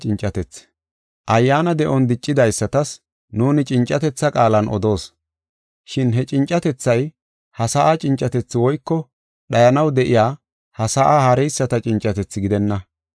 Ayyaana de7on diccidaysatas nuuni cincatetha qaalan odoos. Shin he cincatethay, ha sa7a cincatethi woyko dhayanaw de7iya ha sa7a haareyisata cincatethi gidenna.